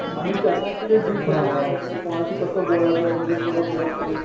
आणि त्यांना तो जे डील कस करायचं कोणाशी कस बोलायचं कुठून पुढक घ्यायची आहे.